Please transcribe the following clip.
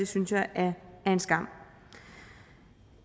synes jeg er en skam